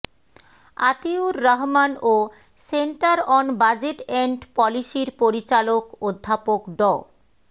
আতিউর রহমান ও centre on budget and পলিসির পরিচালক অধ্যাপক ড